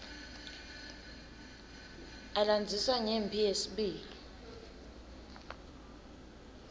alandzisa ngemphi yelive yesibili